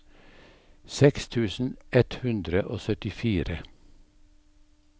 seksten tusen ett hundre og syttifire